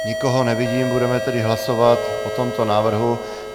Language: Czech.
Nikoho nevidím, budeme tedy hlasovat o tomto návrhu.